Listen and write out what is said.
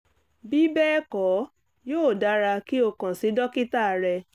bí bẹ́ẹ̀ kọ́ yóò dára kí o kàn sí dókítà rẹ